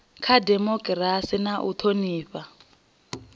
kha dimokirasi na u thonifha